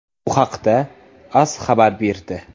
Bu haqda AS xabar berdi.